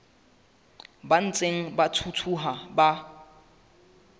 ba ntseng ba thuthuha ba